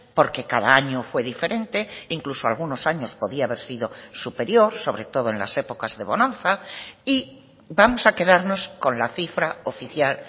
porque cada año fue diferente incluso algunos años podía haber sido superior sobre todo en las épocas de bonanza y vamos a quedarnos con la cifra oficial